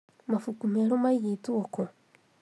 Mabuku merũ maigĩtwo kũ?